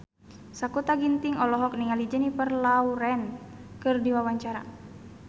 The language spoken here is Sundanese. Sakutra Ginting olohok ningali Jennifer Lawrence keur diwawancara